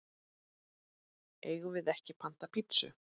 Eigum við ekki panta pitsu?